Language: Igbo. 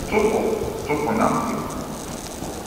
Tupu Tupu na Mgbe